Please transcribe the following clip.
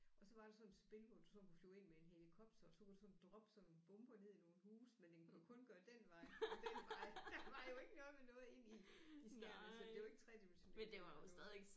Og så var der sådan et spil hvor du sådan kunne flyve ind med en helikopter og så kunne du sådan droppe sådan bomber ned i nogle huse men den kunne kun gøre den vej og den vej der var jo ikke noget med noget ind i i skærmen så det var i tredimensionelt det var jo